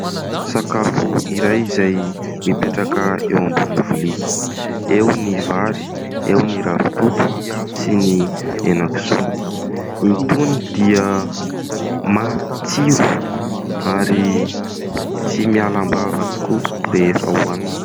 Sakafo iray izay mipetraka eo ambonin'ny lovia, eo ny vary, eo ny ravitoto sy ny henakisoa. Itony dia matsiro ary tsy miala am-bava tokoa rehefa hohanina.